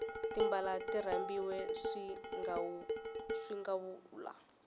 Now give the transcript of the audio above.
timbala ti rambiwe swingawula